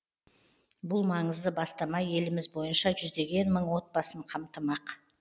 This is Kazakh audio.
бұл маңызды бастама еліміз бойынша жүздеген мың отбасын қамтымақ